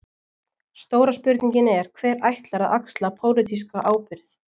Stóra spurningin er: Hver ætlar að axla pólitíska ábyrgð?